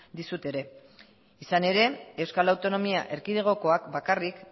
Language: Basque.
dizut ere izan ere euskal autonomia erkidegokoak bakarrik